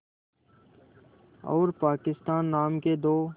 और पाकिस्तान नाम के दो